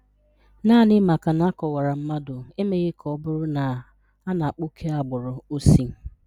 Naanị maka na a kọwara mmadụ, emeghị ka ọ bụrụ na a na-akpa oke agbụrụ o si